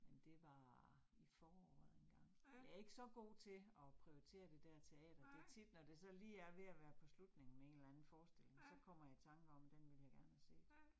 Men det var i foråret engang, jeg ikke så god til at prioritere det der teater, det tit, når det så lige er ved at være på slutningen med en eller anden forestilling, så kommer jeg i tanker om, den ville jeg gerne have set